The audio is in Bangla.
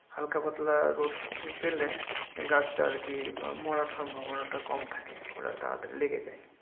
হালকা পাতলা রৌদ্র পেলে, গাছটা আরকি মরার সম্ভবনাটা কম থাকে। ওরা তাড়াতাড়ি লেগে যায়।